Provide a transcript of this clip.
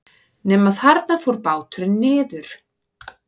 Nema þarna fór báturinn niður.